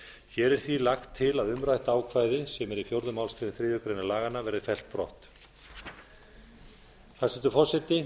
hér er því lagt til að umrætt ákvæði sem er í fjórðu málsgrein þriðju grein laganna verði fellt brott hæstvirtur forseti